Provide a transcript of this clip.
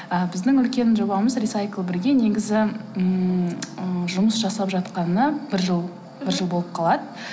ы біздің үлкен жобамыз рисайклбірге негізі ммм ы жұмыс жасап жатқанына бір жыл бір жыл болып қалады